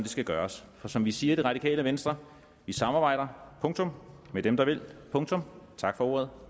skal gøres for som vi siger i det radikale venstre vi samarbejder punktum med dem der vil punktum tak for ordet